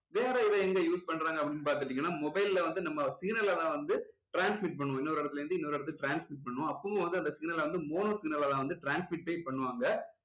வேற இதை use எங்க பண்றாங்க அப்படின்னு பார்த்துட்டீங்கன்னா mobile ல வந்து நம்ம signal ல எல்லாம் வந்து transmit பண்ணும் இன்னொரு இடத்துல இருந்து இன்னொரு இடத்துக்கு transmit பண்ணும் அப்போவும் வந்து அந்த signal ல வந்து mono signal லா தான் வந்து transmit ஏ பண்ணுவாங்க